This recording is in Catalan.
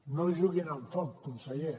no juguin amb foc conseller